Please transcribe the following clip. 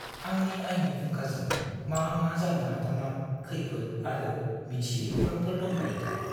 आंनि आयनि फुंखाजों मा मा जानो हाथावना खैफोद आरो मिथियै खौरांफोर दंफायोथाय?